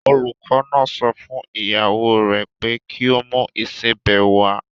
Olùkọ́ náà sọ fún ìyàwó rè pé kí o mú ìsebẹ̀ wá.